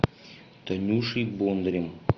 танюшей бондарем